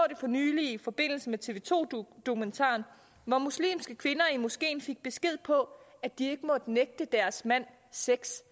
for nylig i forbindelse med tv to dokumentaren hvor muslimske kvinder i moskeen fik besked på at de ikke måtte nægte deres mand sex